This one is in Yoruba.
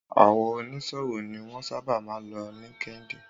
Àwọn oní ṣòwò ni wọ́n sábà máa ń lo líńkdín